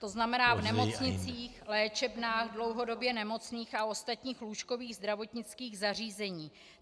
To znamená v nemocnicích, léčebnách dlouhodobě nemocných a ostatních lůžkových zdravotnických zařízeních.